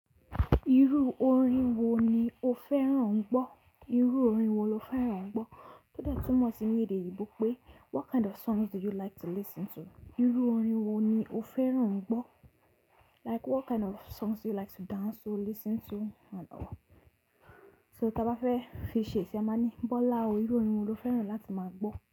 Irú orin wo ni o fẹ́ràn ń gbọ́? Irú orin wo lo fẹ́ràn ń gbọ́? O de tumo si ni ede oyinbo pe, "what kind of songs do you like to listen to?" Irú orin wo ni o fẹ́ràn ń gbọ́? Like what kind of songs do you like to dance to, listen to So tí a bá fẹ́ fi ṣè ṣi a máa ní Bọ́lá o, irú orin wo lo fẹ́ràn láti máa gbọ́?